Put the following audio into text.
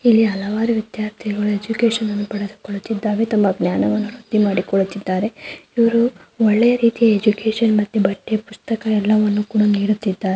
ಇಲ್ಲಿ ಹಲವಾರು ವಿದ್ಯಾರ್ಥಿಗಳು ಎಜುಕೇಶನ್ ಅನ್ನು ಪಡೆದುಕೊಳ್ಳುತಿದ್ದರೆ ತಮ್ಮ ಜ್ಞಾನವನ್ನು ವೃದ್ಧಿ ಮಾಡಿಕೊಳ್ಳುತ್ತಿದ್ದಾರೆ. ಇವರು ಒಳ್ಳೆಯ ರೀತಿಯ ಎಜುಕೇಶನ್ ಮತ್ತು ಪಠ್ಯ ಪುಸ್ತಕ ಎಲ್ಲವನ್ನು ಕೂಡ ನೀಡುತ್ತಿದ್ದಾರೆ.